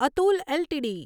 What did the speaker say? Atul LTD